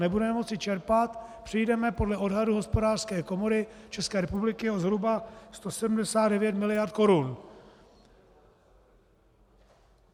Nebudeme moci čerpat, přijdeme podle odhadu Hospodářské komory České republiky o zhruba 179 mld. korun.